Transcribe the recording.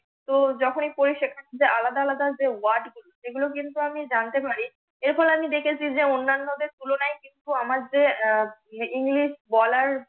তো যখনি পড়ি সেখান থেকে আলাদা আলাদা WORD গুলো সেগুলো কিন্তু আমি জানতে পারি এরফলে আমি দেখেছি যে অন্যানদের তুলনায় কিছু আমার যে আহ ENGLISH বলার